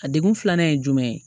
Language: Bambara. A degun filanan ye jumɛn ye